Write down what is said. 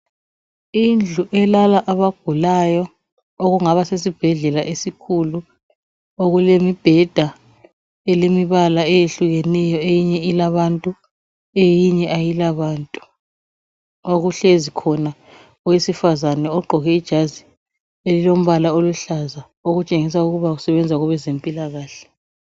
Indlu elala abagulayo okungaba sesibhedlela esikhulu okulemibheda elemibala eyehlukeneyo eminye ilabantu eminye ayilabantu okuhlezi khona owesifazana ogqoke ijazi elilombala oluhlaza okutshengisa ukuthi usebenza kwabezempilakahle.